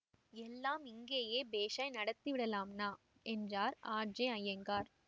எல்லாம் இங்கேயே பேஷாய் நடத்தி விடலாம்னா என்றார் ஆர்ஐஅய்யங்கார்